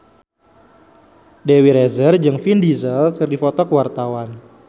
Dewi Rezer jeung Vin Diesel keur dipoto ku wartawan